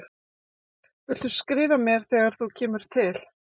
Viltu skrifa mér þegar þú kemur til